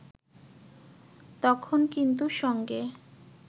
তখন কিন্তু সঙ্গে